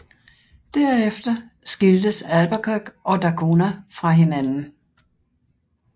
Derefter skiltes Albuquerque og da Cunha fra hinanden